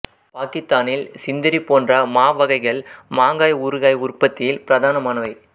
பாக்கித்தானில் சிந்திரி போன்ற மா வகைகள் மாங்காய் ஊறுகாய் உற்பத்தியில் பிரதானமானவை